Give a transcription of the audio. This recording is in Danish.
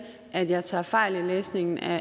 at jeg tager fejl i læsningen af